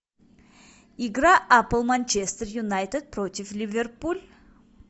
игра апл манчестер юнайтед против ливерпуль